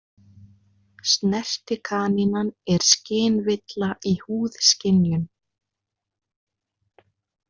Snertikanínan er skynvilla í húðskynjun.